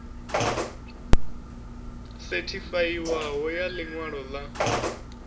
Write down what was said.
sethifaiwaho ya ḽi ṅwalo ḽa